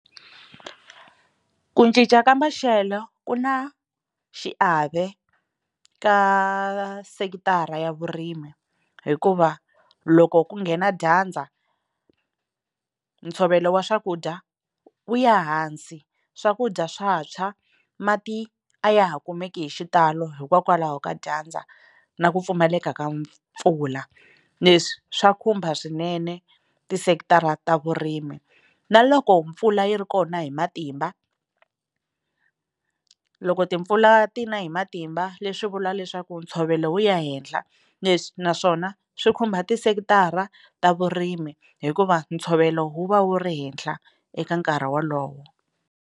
Ku cinca ka maxelo ku na xiave ka sekithara ya vurimi hikuva loko ku nghena dyandza ntshovelo wa swakudya wu ya hansi swakudya swa tshwa mati a ya ha kumeki hi xitalo hikokwalaho ka dyandza na ku pfumaleka ka mpfula leswi swa khumba swinene tisekithara ta vurimi na loko mpfula yi ri kona hi matimba loko timpfula ti na hi matimba leswi vula leswaku ntshovelo wu ya henhla leswi naswona swi khumba tisekithara ta vurimi hikuva ntshovelo wu va wu ri henhla eka nkarhi wolowo.